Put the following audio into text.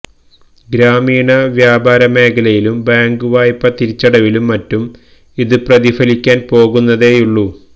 ഗ്രാമീണ വ്യാപാരമേഖലയിലും ബാങ്ക് വായ്പ തിരിച്ചടവിലും മറ്റും ഇത് പ്രതിഫലിക്കാന് പോകുന്നതേയുള്ളൂ